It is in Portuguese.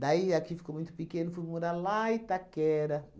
Daí, aqui ficou muito pequeno, fui morar lá em Itaquera.